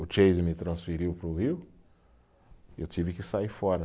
O Chase me transferiu para o Rio e eu tive que sair fora.